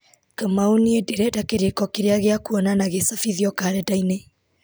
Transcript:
kamau niĩ ndĩrenda kĩrĩko kĩrĩa gĩa kwonana gĩcabithio karenda-inĩ